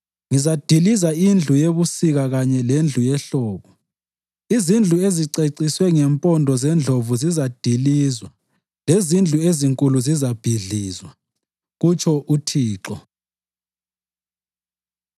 Ngizadiliza indlu yebusika kanye lendlu yehlobo, izindlu eziceciswe ngempondo zendlovu zizadilizwa lezindlu ezinkulu zizabhidlizwa,” kutsho uThixo.